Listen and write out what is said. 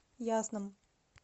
ясном